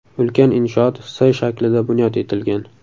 Ulkan inshoot S shaklida bunyod etilgan.